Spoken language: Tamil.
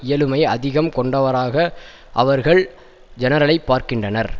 இயலுமை அதிகம் கொண்டவராக அவர்கள் ஜெனரலை பார்க்கின்றனர்